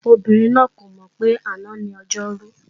Ọmọbìnrin náà kò mọ̀ pé àná ni Ọjọ́rú